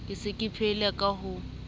ka se phele ka ho